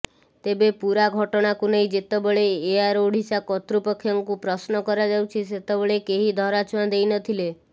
ତେବେ ପୂରା ଘଟଣାକୁ ନେଇ ଯେତେବେଳେ ଏୟାର ଓଡିଶା କର୍ତୃପକ୍ଷଙ୍କୁ ପ୍ରଶ୍ନ କରାଯାଉଛି ସେତେବେଳେ କେହି ଧରାଛୁଆଁ ଦେଇନଥିଲେ